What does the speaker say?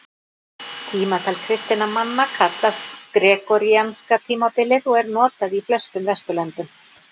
Tímatal kristinna manna kallast gregoríanska tímatalið og er notað í flestum Vesturlöndum.